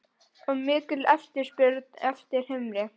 Og mikil eftirspurn eftir humri?